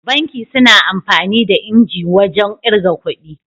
Banki suna amfani da injin wajan irga kudi